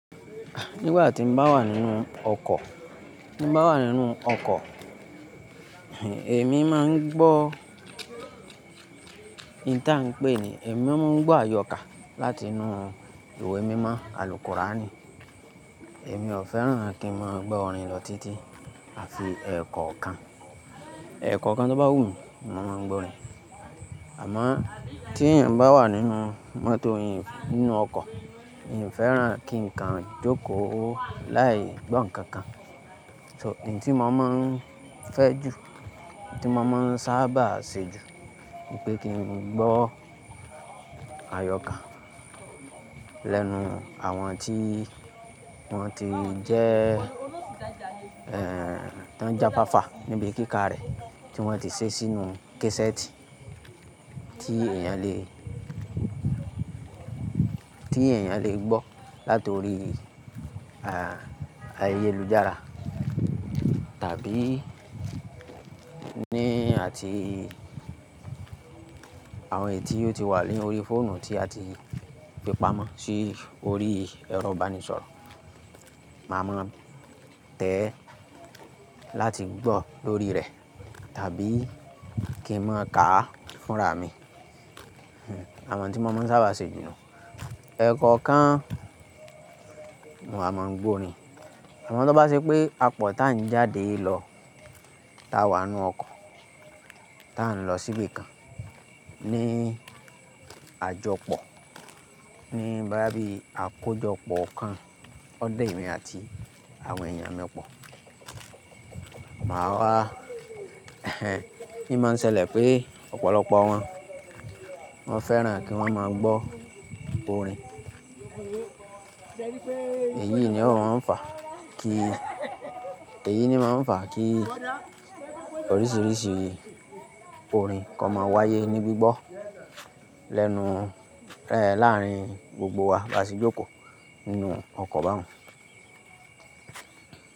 Nígbà tí n bá wà nínú ọkọ̀, ti n bá wà nínú ọkọ̀, èmi má n gbó, ìn ta n pé ni, èmi má n gbó àyọkà láti inú ìwé mímọ àl kurani. Èmi ò fẹ́ràn kí n máa gbó orin lọ títí àfi ẹ̀ekọ́okan. Ẹ̀kọ́okan tó bá wù mí, ni mo máa n gbó orin. Àmọ́ tí èeyàn bá wà nínú mọ́tò yìí nínú ọkọ̀, mi ò fẹ́ràn kí ǹ kan jókòó láì gbọ́ ǹkan kan. So èyí tí mo má n fẹ́ jù, èyí tí mo má n sábà ṣe jù, nipé kí n gbó àyọkà lẹ́nu àwọn tí wọ́n ti jẹ́ ẹ́ tí wọ́n ti jáfáfá níbi kíka rẹ̀ tí wọ́n ti ṣé sínú kesẹ́ẹ̀tì tí èèyàn le, tí èeyàn le gbó látori ayélujára tàbí ni àti àwọn èyi tìi ó ti wà lórí fóònù tí a ti fípa mọ́ sí orí ẹrọ ìbánisọ̀rọ̀. Masma tẹ́ ẹ láti gbó lórí rẹ̀ tàbí kí n máa káa fúnra mi. Àwọn n tí mo má n sábà ṣe jù nù. Ẹ̀ekọ́okan n wa máa gbó orin. Àmọ́ tó bá ṣe pé apọ̀ tá n jáde lọ tá wà n nú ọkọ̀ tá n lọ síbi kan ní àjọpọ̀ ní boyá bí àkójọpọ̀ kan ó da émi àti àwọn èèyàn mi pọ̀ máa wà i máa ń ṣẹlẹ̀ pé ọ̀pọ̀lọpọ̀ wọn, wọ́n fẹ́ràn kí wọ́n máa gbó orin. Èyí ni ó máa ń fà kí, èyí ni máa ń fà kí oríṣiríṣi orin ko máa wáyé ní gbígbọ́ lẹ́nu ẹ láárín gbogbo wa bí a ṣe jókòó nínú ọkọ̀ báun.